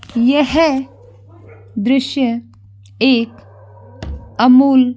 यह दृश्य एक अमूल-- --